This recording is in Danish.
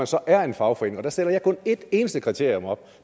så er en fagforening og der stiller jeg kun et eneste kriterium op og